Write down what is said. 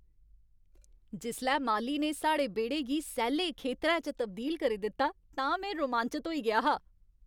जिसलै माली ने साढ़े बेह्ड़े गी सैल्ले खेतरै च तब्दील करी दित्ता तां में रोमांचत होई गेआ हा।